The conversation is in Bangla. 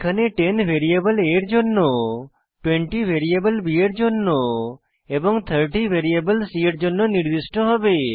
এখানে 10 ভ্যারিয়েবল a এর জন্য 20 ভ্যারিয়েবল b এর জন্য এবং 30 ভ্যারিয়েবল c এর জন্য নির্দিষ্ট হবে